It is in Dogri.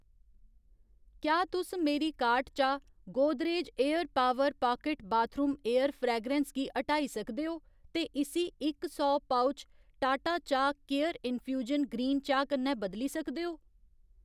क्या तुस मेरी कार्ट चा Godrej air power pocket bathroom air fragrance गी ह्टाई सकदे ओ ते इस्सी इक सौ पउच टाटा चाह् केयर इन्फ्यूजन ग्रीन चाह् कन्नै बदली सकदे ओ